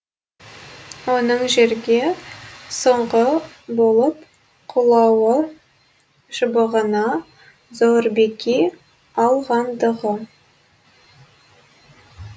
оның жерге соңғы болып құлауы шыбығына зор беки алғандығы